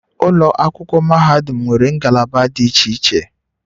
Ụlọ akwụkwọ mahadum nwere ngalaba dị iche iche